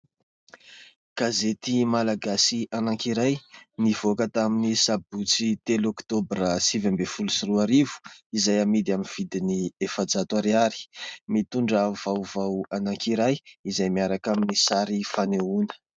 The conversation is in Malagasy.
Gazety malagasy anankiray nivoaka tamin'ny sabotsy telo oktobra, sivy ambin'ny folo sy roa arivo, izay amidy amin'ny vidiny efajato ariary : mitondra vaovao anankiray izay miaraka amin'ny sary fanehoana.